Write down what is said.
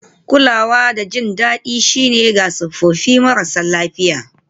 Kulawa da jin daɗi shine ga tsofaffi marasa lafiya